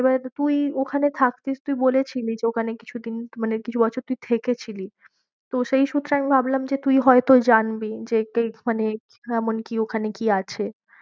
এবার তুই ওখানে থাকতিস তুই বলেছিলি ওখানে কিছুদিন মানে কিছু বছর তুই থেকে ছিলি তো সেই সূত্রে আমি ভাবলাম যে তুই হয় তো জানবি যে তুই মানে কেমন কি ওখানে কি আছে?